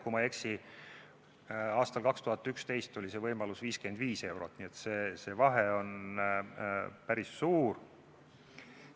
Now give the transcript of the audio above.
Kui ma ei eksi, aastal 2011 oli võimalik 55 eurot, nii et see vahe on päris suur.